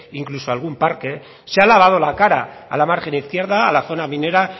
incluso algún parque se ha lavado la cara a la margen izquierda a la zona minera